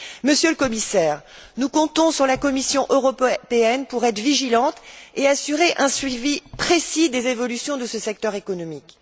Monsieur le Commissaire, nous comptons sur la Commission européenne pour être vigilante et assurer un suivi précis des évolutions de ce secteur économique.